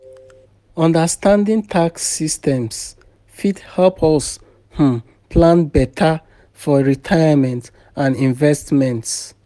Understanding tax systems fit help us um plan beta for retirement and investments.